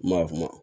Maa kuma